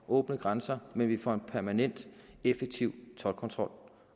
åbne grænser men vi for en permanent effektiv toldkontrol